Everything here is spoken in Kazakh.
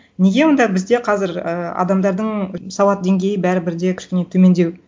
неге онда бізде қазір ы адамдардың сауат деңгейі бәрібір де кішкене төмендеу